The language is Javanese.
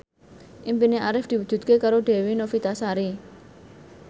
impine Arif diwujudke karo Dewi Novitasari